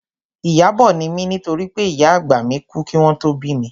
Ìyábọ̀ ni mí nítorí pé ìyá àgbà mi kú kí wọn tó bí mi